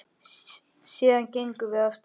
Síðan gengum við af stað.